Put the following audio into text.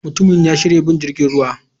Mutumin ya yanke shawarar bin jirgin ruwa.